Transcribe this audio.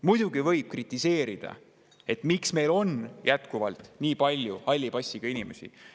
Muidugi võib kritiseerida, et miks meil on jätkuvalt nii palju halli passiga inimesi.